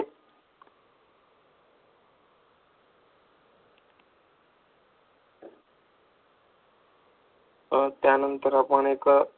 अं त्यानंतर आपण एक okay